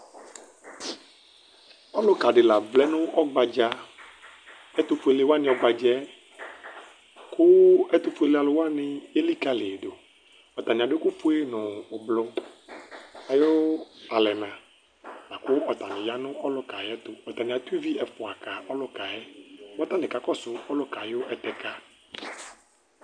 Ɔlʋkadi la vlɛnʋ ɔgbadza ɛtʋfueleni wani ɔgbadza yɛ, kʋ ɛtʋfuele alʋ wani ekikaliyi dʋ atani adʋ ɛkʋfue nʋ ʋblʋ ayʋ alɛna, lakʋ atani yanʋ ɔlʋkayɛ ayʋ ɛtʋ atani atʋ ivi ɛfʋa ka ɔlʋkayɛ kʋ atani kakɔsʋ ɔlʋka ayʋ ɛtɛka